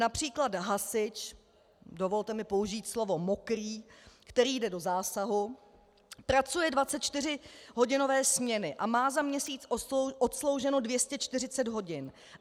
Například hasič, dovolte mi použít slovo mokrý, který jde do zásahu, pracuje 24hodinové směny a má za měsíc odslouženo 240 hodin.